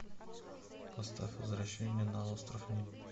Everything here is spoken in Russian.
поставь возвращение на остров ним